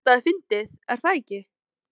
Þetta er fyndið, er það ekki?